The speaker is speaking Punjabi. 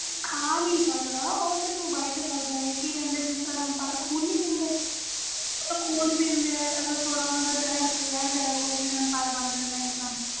ਖਾ ਨਹੀਂ ਸਕਦਾ ਓ ਸਰੀਫ਼ bite ਕਰਦਾ ਵ ਇਹਦੇ vampire ਜਿਸ ਤਰਾਂ ਖ਼ੂਨ ਪੀਦੇ ਵ ਅਗਰ ਓਹਨਾ ਦਾ ਜਹਿਰ ਰਹਿ ਜਾਵੇ ਤਾ ਓ vampire ਬਣ ਜਾਂਦੇ ਵ ਇਨਸਾਨ